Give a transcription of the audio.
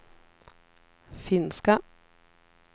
finska